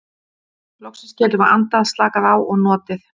Loksins getum við andað, slakað á og notið.